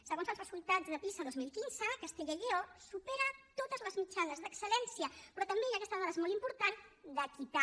segons els resultats de pisa dos mil quinze castella i lleó supera totes les mitjanes d’excel·lència però també i aquesta dada és molt important d’equitat